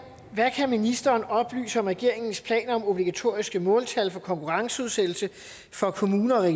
hvad kan ministeren oplyse om regeringens planer om obligatoriske måltal for konkurrenceudsættelse for kommuner og